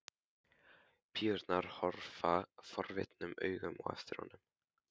Píurnar horfa forvitnum augum á eftir honum.